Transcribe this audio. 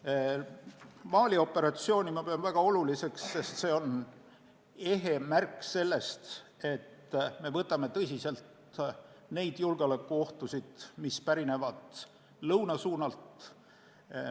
Pean Mali operatsiooni väga oluliseks, sest see on ehe märk sellest, et me võtame tõsiselt neid julgeolekuohtusid, mis pärinevad lõunast.